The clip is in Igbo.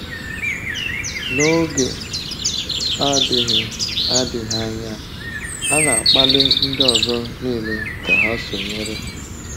N’oge adịghị adịghị anya, a na-akpali ndị ọzọ niile ka ha sonyere.